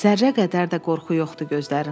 Zərrə qədər də qorxu yoxdu gözlərində.